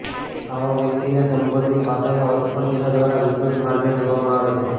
આવા વ્યકિતને સંબોધિત ભાષાનો અર્થ પણ તેના દ્વારા વિકૃત માર્ગે જોવામાં આવે છે